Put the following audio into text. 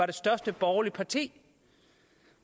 det største borgerlige parti